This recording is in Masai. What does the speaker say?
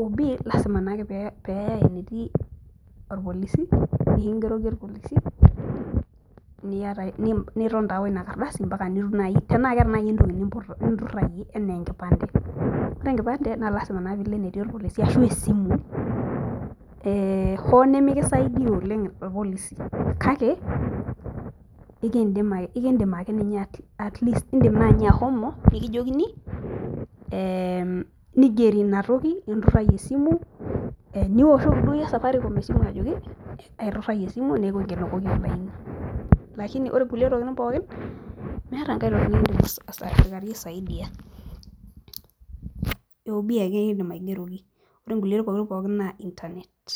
OB lazima naake pee eyae enetii olpolisi, niton taa woinakardasi mpaka nitum naaji, tanaa keeta naaji entoki ninturayie anaa enkipande, naa lasima naa pee ilo enetii olpolisi anaa esimu, ee hoo nimikisaidia oleng ilpolisi kake, ekidim ake ninye, idim naa ahomo atleast nikijokini, ee nigeri inatoki ninturayie esimu. nisohoki duo iyie safaricom ajoki, aiturayie esimu neku enteretoki tine, lakini pore nkulie tokitin pookin, meeta enkae toki nikidim osikiari aisaidai OB ake kidim aigeroki, ore nkulie tokitin pokin, naa internet.